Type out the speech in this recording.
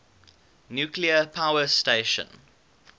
nuclear power station